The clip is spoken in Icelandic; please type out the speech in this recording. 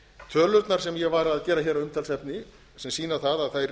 tölurnar sem ég var að gera að umtalsefni sem sýna það